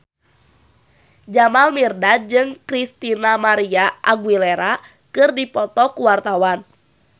Jamal Mirdad jeung Christina María Aguilera keur dipoto ku wartawan